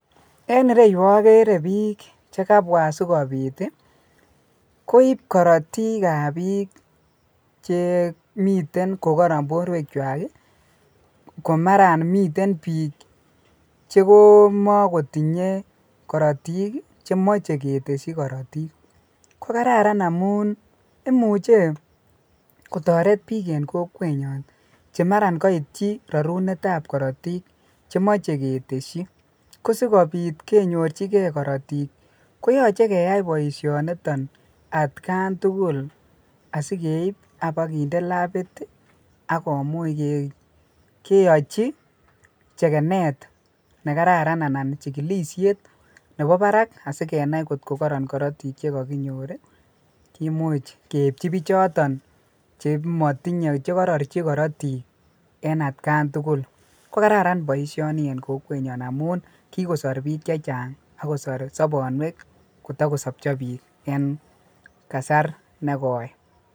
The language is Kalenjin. En ireu akeree bik chikabwa asikobit koib korotik ab bik Chemiten kokaran borwek chwak komara miten bik chekomakitinye korotik chemache keteshin korotik kokararan amun imuche kotaret bik en kokwet nyon chemara koit chi nerarunet ab Kartik chemache keteshi asikobit konyorchigei korotik koyache keyai baishoniton atkan tugul asikeib AK bakende labit akomuche keyachi chekenet nekararan anan chekilishet Nebo Barak sikenai kotko karoron korotik chikakinyor kimuche keipchi bik choton chematinye anan korochi korotik en atkan tugul kokararan mising baishoniton en kokwet nyon amun kikosar bik chechang akosar sabanwek kotakosabcha bik en kasar negoi